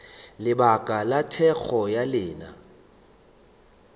lebaka la thekgo ya lena